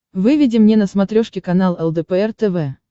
выведи мне на смотрешке канал лдпр тв